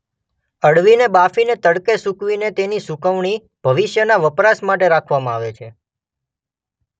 અળવીને બાફીને તડકે સુકવીને તેની સુકવણી ભવિષ્યના વપરાશ માટે રાખવામાં આવે છે.